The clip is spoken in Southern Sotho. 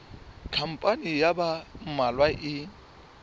khampani ya ba mmalwa e